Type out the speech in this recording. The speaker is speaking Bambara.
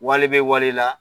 Wale bɛ wale la